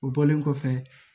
O bɔlen kɔfɛ